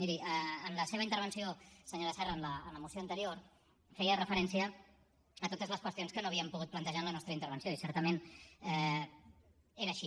miri en la seva intervenció senyora serra en la moció anterior feia referència a totes les qüestions que no havíem pogut plantejar en la nostra intervenció i certament és així